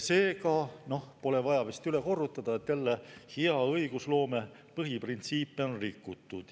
Seega pole vaja vist üle korrutada, et jälle hea õigusloome põhiprintsiipe on rikutud.